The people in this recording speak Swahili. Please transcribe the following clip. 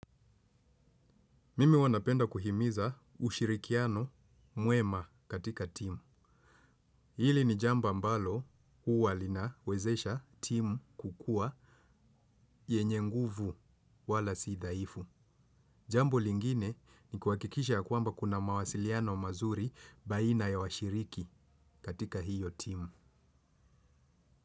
Mimi huwa nanapenda kuhimiza ushirikiano mwema katika timu. Hili ni jamba ambalo huwa linawezesha timu kukuwa yenye nguvu wala sidhaifu. Jambo lingine ni kuhakikisha ya kwamba kuna mawasiliano mazuri baina ya washiriki katika hio timu.